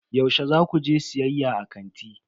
Yaushe za ku je siyayya a kanti?